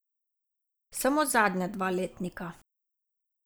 Samo zadnja dva letnika.